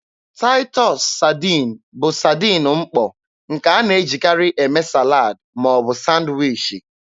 Taịtọs saadin bụ saadin mkpọ, nke a na-ejikarị eme salad ma ọ bụ sanwichi.